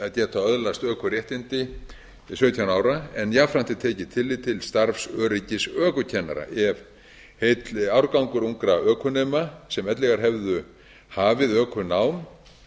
að geta öðlast ökuréttindi sautján ára en jafnframt er tekið tillit til starfsöryggis ökukennara ef heill árgangur ungra ökunema sem ella hefðu hafið ökunám